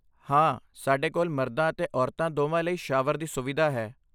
ਹਾਂ, ਸਾਡੇ ਕੋਲ ਮਰਦਾਂ ਅਤੇ ਔਰਤਾਂ ਦੋਵਾਂ ਲਈ ਸ਼ਾਵਰ ਦੀ ਸੁਵਿਧਾ ਹੈ।